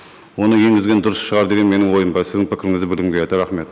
оны енгізген дұрыс шығар деген менің ойым бар сіздің пікіріңізді білгім келеді рахмет